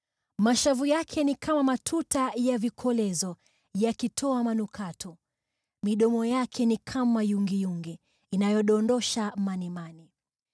Mashavu yake ni kama matuta ya vikolezo yakitoa manukato. Midomo yake ni kama yungiyungi inayodondosha manemane.